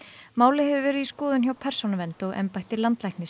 málið hefur verið í skoðun hjá Persónuvernd og embætti landlæknis